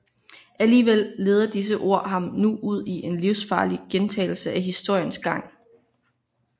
Alligevel leder disse ord ham nu ud i en livsfarlig gentagelse af historiens gang